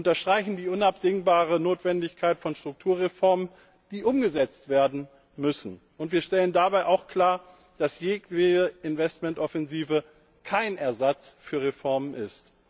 Wir unterstreichen die unabdingbare Notwendigkeit von Strukturreformen, die umgesetzt werden müssen, und wir stellen dabei auch klar, dass jedwede Investmentoffensive kein Ersatz für Reformen ist.